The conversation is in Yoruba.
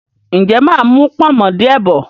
ǹjẹ́ mà á mú “pọ̀nmọ́” díẹ̀ bọ̀?